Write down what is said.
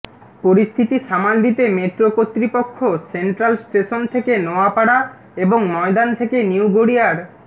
পরিস্থিতি সামাল দিতে মেট্রো কর্তৃপক্ষ সেন্ট্রাল স্টেশন থেকে নোয়াপাড়া এবং ময়দান থেকে নিউ গড়িয়ার